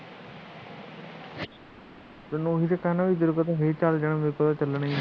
ਤੈਨੂੰ ਮੈ ਉਹੀ ਕਹਿਣਾ ਤੇਰੇ ਤੋ ਤਾ ਚੱਲ ਜਾਣ ਮੇਰੇ ਤੋ ਤਾ ਚੱਲਣਾ ਹੀ ਨਹੀ